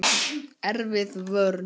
Erfið vörn.